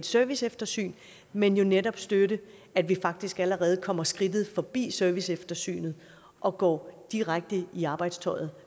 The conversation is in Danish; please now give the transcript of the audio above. serviceeftersyn men jo netop støtte at vi faktisk allerede kommer skridtet forbi serviceeftersynet og går direkte i arbejdstøjet